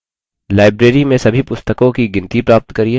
1 library में सभी पुस्तकों की गिनती प्राप्त करिये